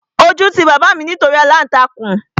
Ojú ti bàbá mi nítorí aláǹtakùn